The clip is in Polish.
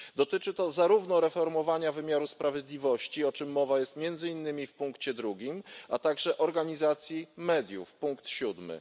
Dotyczy to zarówno reformowania wymiaru sprawiedliwości, o czym mowa jest między innymi w punkcie drugim, a także organizacji mediów, punkt siódmy.